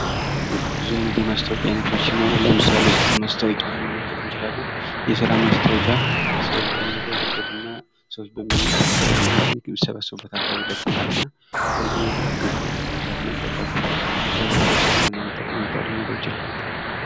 ብዙ አይነት የማስታወቂያ አይነቶች ሲይኖሩ ለምሳሌ የስራ ማስታወቂያ መመልከት እንችላለን። የስራ ማስታወቂያ ስዎች በሚጓዙበት እና ሰዎች በሚሰበሰቡበት አካባቢ ይለጠፉል እና ሰዎች በሚሰበሰቡበት አካባቢ መለጠፉ ለብረተሰቡ ምን አይነት ጠቀሜታ ሊኖረው ይችላል?